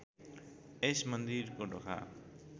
यस मन्दिरको ढोका